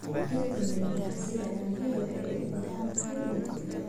Dhirta midhaha sida cambe waxay u baahan tahay biyo ku filan.